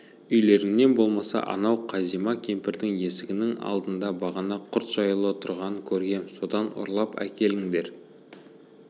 үйлеріңнен болмаса анау қазима кемпірдің есігінің алдында бағана құрт жаюлы тұрғанын көргем содан ұрлап әкеліңдер